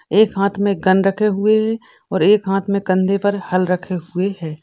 एक हाथ में गन रखे हुए हैं और एक हाथ में कंधे पर हल रखे हुए हैं ।